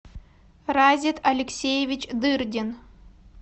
разит алексеевич дырдин